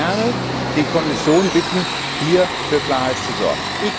Ich würde gerne die Kommission bitten, hier für Klarheit zu sorgen.